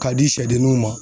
K'a di siyɛdenninw ma.